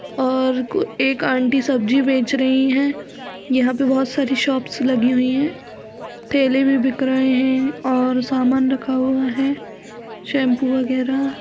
और कु एक आंटी सब्जी बेच रहीं हैं। यहाँ पे बहुत सारी शॉप्स लगी हुइ हैं। केले भी बिक रहे हैं और समान रखा हुआ है शैंपू वगैरा।